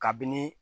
Kabini